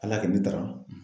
Ala y'a kɛ ne taara.